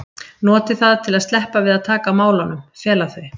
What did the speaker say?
noti það til að sleppa við að taka á málunum, fela þau.